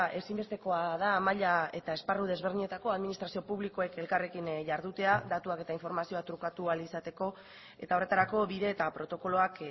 ezinbestekoa da maila eta esparru desberdinetako administrazio publikoek elkarrekin jardutea datuak eta informazioa trukatu ahal izateko eta horretarako bide eta protokoloak